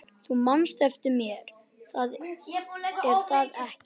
Þú manst eftir mér, er það ekki?